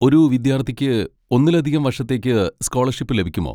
ഒരു വിദ്യാർത്ഥിക്ക് ഒന്നിലധികം വർഷത്തേക്ക് സ്കോളർഷിപ്പ് ലഭിക്കുമോ?